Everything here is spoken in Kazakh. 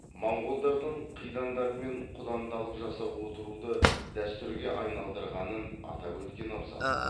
монғолдардың қидандармен құдандалық жасап отыруды дәстүрге айналдырғанын атап өткен абзал